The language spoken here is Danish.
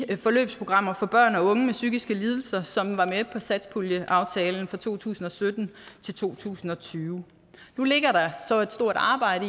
de forløbsprogrammer for børn og unge med psykiske lidelser som var med på satspuljeaftalen fra to tusind og sytten til to tusind og tyve nu ligger der så et stort arbejde